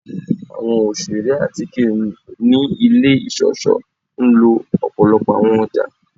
Awọn oṣere atike ni ile iṣọṣọ nlo ọpọlọpọ awọn ọja